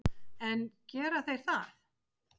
En gera þeir það?